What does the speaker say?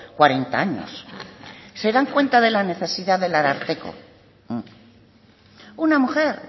cuarenta años se dan cuenta de la necesidad del ararteko una mujer